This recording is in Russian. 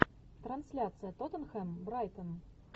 трансляция тоттенхэм брайтон